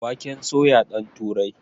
Waken soya ɗan turai